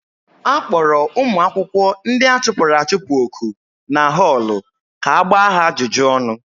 A kpọrọ ụmụ akwụkwọ ndị a chụpụrụ achụpụ oku na họọlụ ka a gbaa ha ajụjụ ọnụ.